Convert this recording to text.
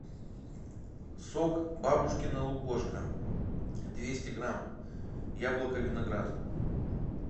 сок бабушкино лукошко двести грамм яблоко виноград